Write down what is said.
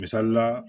Misali la